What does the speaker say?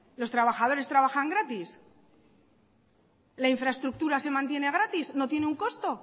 los trabajadores trabajan gratis la infraestructura se mantiene gratis no tiene un costo